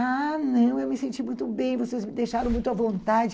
Ah, não, eu me senti muito bem, vocês me deixaram muito à vontade.